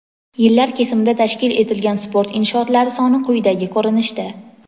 Yillar kesimida tashkil etilgan sport inshootlari soni quyidagi ko‘rinishda:.